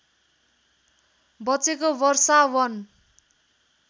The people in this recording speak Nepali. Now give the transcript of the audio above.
बचेको वर्षा वन